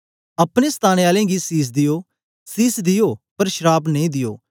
अपने सताने आले गी सीस दियो सीस दियो पर श्राप नेई दियो